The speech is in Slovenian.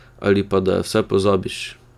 Ali pa da jo vsaj pozabiš!